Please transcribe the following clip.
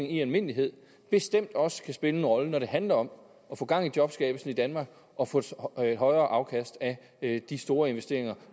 i almindelighed bestemt også kan spille en rolle når det handler om at få gang i jobskabelsen i danmark og få et højere afkast af de store investeringer